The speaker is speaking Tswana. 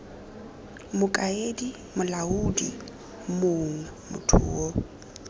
mokaedi molaodi mong motho yo